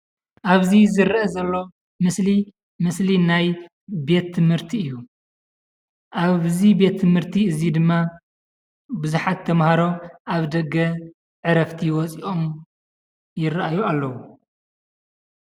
ኣብዚ ዝረአ ዘሎ ምስሊ ምስሊ ናይ ቤት ትምህርቲ እዩ። ኣብዚ ቤት ትምህርቲ እዙይ ድማ ቡዝሓት ተማሃሮ ኣብ ደገ ዕረፍቲ ወፂኦም ይረኣዩ ኣለው።